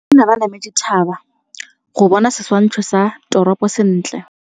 Banna ba nametse thaba go bona setshwantsho sa toropô sentle.